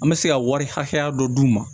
An bɛ se ka wari hakɛya dɔ d'u ma